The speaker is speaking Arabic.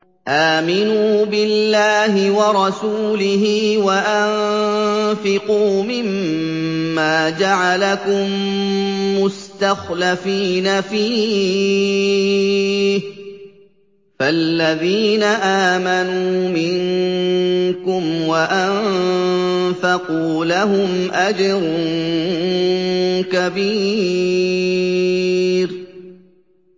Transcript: آمِنُوا بِاللَّهِ وَرَسُولِهِ وَأَنفِقُوا مِمَّا جَعَلَكُم مُّسْتَخْلَفِينَ فِيهِ ۖ فَالَّذِينَ آمَنُوا مِنكُمْ وَأَنفَقُوا لَهُمْ أَجْرٌ كَبِيرٌ